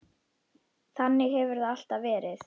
Þannig hefur það alltaf verið.